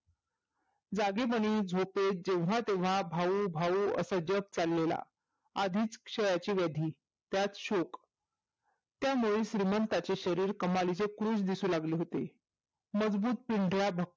जागेपणी झोपेत जेव्हा तेव्हा भाऊ भाऊ असं जप चाललेला आधिच क्षयाची वधी त्यात शोक त्यामुळे श्रीमंतांची शरीर कमालीची फूस दिसू लागले होते मजबूत भकम